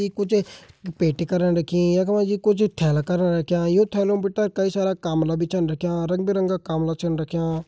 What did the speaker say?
ये कुछ पेटी करां रखीं और ये कुछ थैला करां रख्यां यु थैला भीतर कई सारा काम्ब्ला भी छ रख्यां रंग बिरंगा काम्ब्ला छन रख्यां।